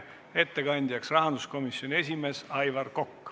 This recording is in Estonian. Ettekandjaks on rahanduskomisjoni esimees Aivar Kokk.